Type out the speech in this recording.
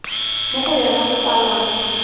mo go yona go kwalwang